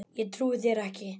Ég trúi þér ekki.